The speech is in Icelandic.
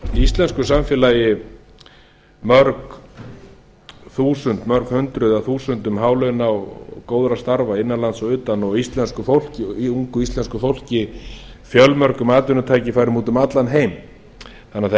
íslensku samfélagi mörg hundruð eða þúsundum hálauna og góðra starfa innan lands og utan og ungu íslensku fólki fjölmörgumatvinnutækifærum út um allan heim þannig að það